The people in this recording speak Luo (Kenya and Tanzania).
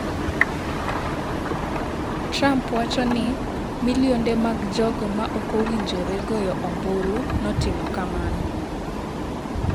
Trump wacho ni milionde mag jogo ma ok owinjore goyo ombulu notimo kamano